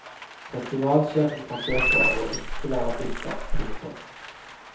Festivalsjefen forsøker å ikke være bitter. punktum